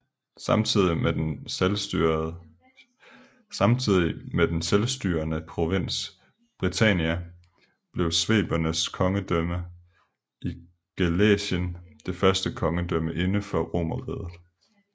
Samtidig med den selvstyrende provins Britannia blev svebernes kongedømme i Gallæcien det første kongedømme inden for Romerriget